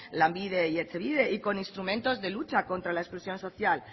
lanbide y etxebide y con instrumentos de lucha contra la exclusión social